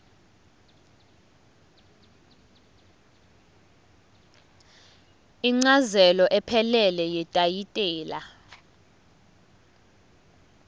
incazelo ephelele yetayitela